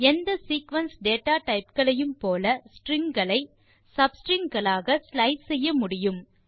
எந்தsequence data type களையும் போல strings களை sub ஸ்ட்ரிங் களாக ஸ்லைஸ் செய்ய முடியும்